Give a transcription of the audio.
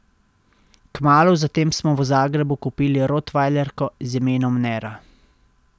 Kmalu zatem smo v Zagrebu kupili rotvajlerko z imenom Nera.